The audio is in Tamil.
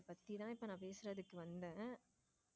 அத பத்தி தான் இப்போ பேசுறதுக்கு வந்தேன்.